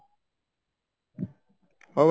ହଉ